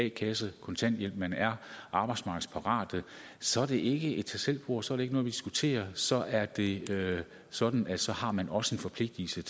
a kassen kontanthjælp men er arbejdsmarkedsparat så er det ikke et tag selv bord så er det ikke noget vi diskuterer så er det sådan at så har man også en forpligtelse